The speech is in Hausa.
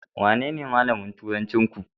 Wanene malamin turancinku?